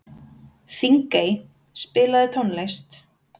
Þingey, spilaðu tónlist.